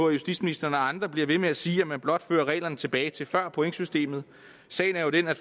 at justitsministeren og andre bliver ved med at sige at man blot fører reglerne tilbage til før pointsystemet sagen er jo den at